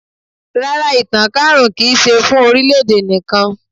Rárá, ìtànká àrùn kì í ṣe fún orílẹ̀-èdè nìkan.